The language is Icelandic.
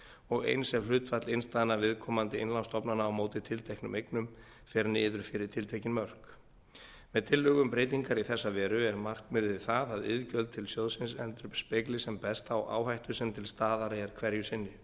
og eins ef hlutfall innstæðna viðkomandi innlánsstofnana á móti tilteknum eignum fer niður fyrir tiltekin mörk með tillögu um breytingar í þessa veru er markmiðið það að iðgjöld til sjóðsins endurspegli sem best þá áhættu sem til staðar er hverju sinni